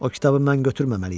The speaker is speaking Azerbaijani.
O kitabı mən götürməməliydim.